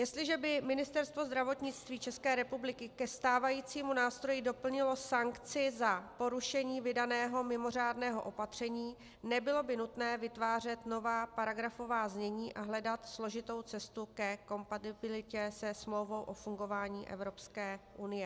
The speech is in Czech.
Jestliže by Ministerstvo zdravotnictví České republiky ke stávajícímu nástroji doplnilo sankci za porušení vydaného mimořádného opatření, nebylo by nutné vytvářet nová paragrafová znění a hledat složitou cestu ke kompatibilitě se Smlouvou o fungování Evropské unie.